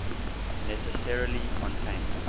necessarily contain